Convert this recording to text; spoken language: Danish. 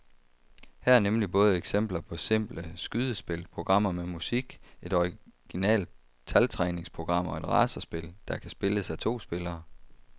Her er nemlig både eksempler på simple skydespil, programmer med musik, et originalt taltræningsprogram og et racerspil, der kan spilles af to spillere.